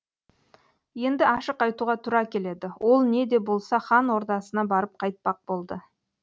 енді ашық айтуға тура келеді ол не де болса хан ордасына барып қайтпақ болды